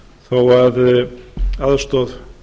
þó að aðstoð